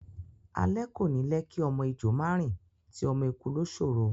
Alé kò ní lẹ́ kí ọmọ ejò má rìn, ti ọmọ eku ló ṣòro.